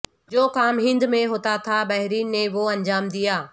جو کام ہند میں ہونا تھا بحرین نے وہ انجام دیا